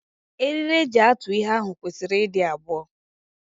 Eriri eji atụ ihe ahụ kwesịrị ịdị abụọ.